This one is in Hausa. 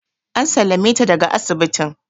An sallame ta daga asibitin